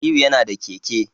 Aliyu yana da keke